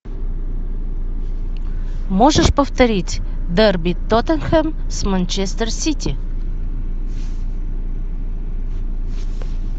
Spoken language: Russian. можешь повторить дерби тоттенхэм с манчестер сити